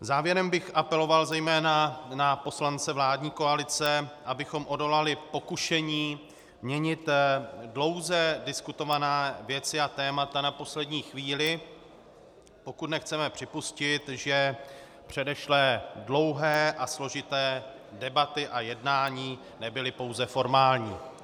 Závěrem bych apeloval zejména na poslance vládní koalice, abychom odolali pokušení měnit dlouze diskutované věci a témata na poslední chvíli, pokud nechceme připustit, že předešlé dlouhé a složité debaty a jednání nebyly pouze formální.